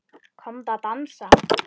Komdu að dansa